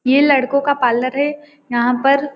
ये लड़कों का पार्लर है यहाँ पर--